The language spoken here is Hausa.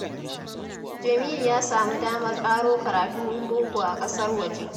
Jamilu ya samu damar ƙaro karatun boko a ƙasar waje